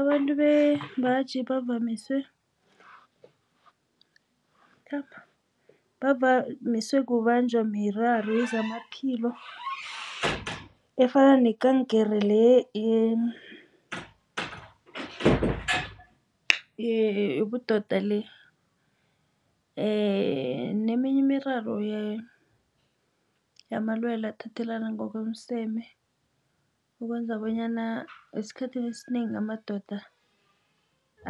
Abantu bembaji bavamise kubanjwa miraro yezamaphilo efana nekankere le yobudodale. Neminye imiraro yamalwele athathelana ngokomseme. Ukwenza bonyana esikhathini esinengi amadoda